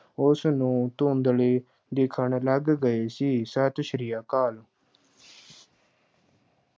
ਉਸਨੂੰ ਧੁੰਦਲੇ ਦਿੱਖਣ ਲੱਗ ਗਏ ਸੀ, ਸਤਿ ਸ੍ਰੀ ਅਕਾਲ।